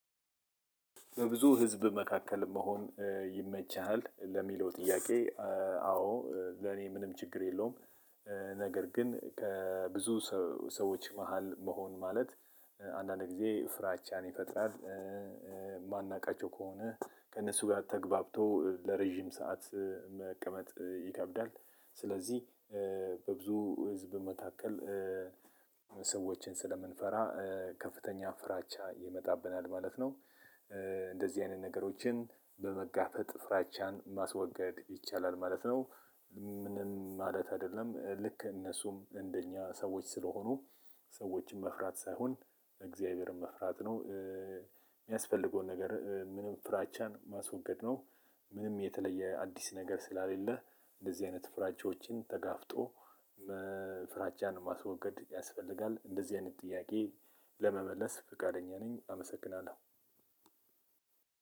በብዙ ህዝብ መካከል መሆን ይመችሃል ለሚለው ጥያቄ አዎ ለኔ ምንም ችግር የለውም። ነገር ግን ከብዙ ሰዎች መሃል መሆን ማለት አንዳንድ ጊዜ ፍራቻን ይፈጥራል። የማናውቃቸው ከሆነ ከእነሱ ጋር ተገብቶ ለረጅም ሰዓት መቀመጥ ይከብዳል። ስለዚህ ብዙ ህዝብ መካከል ሰዎችን ስለምንፈራ ከፍተኛ ፍራቻ ይመጣብናል ማለት ነው። እንደዚህ አይነት ነገሮችን በመጋፈጥ ፍራቻን ማስወገድ ይቻላል ማለት ነው። ምንም ማለት አይደለም ልክ እነሱም እንደኛ ሰዎች ስለሆኑ ሰዎችም መፍራት ሳይሆን እግዚአብሔርን መፍራት ነው። የሚያስፈልገውን ነገር ምንም ፍራቻን ማስወገድ ነው። ምንም የተለየ አዲስ ነገር ስላሌለህ እንደዚህ አይነት ፍራቻዎችን ተጋፍጦ ፍራቻን ማስወገድ ያስፈልጋል እንደዚህ አይነት ጥያቄ ለመመለስ ፈቃደኛ ነኝ አመሰግናለሁ።